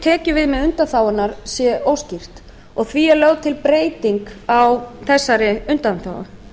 tekjuviðmið undanþágunnar sé óskýrt og því er lögð til breyting á þessari undanþágu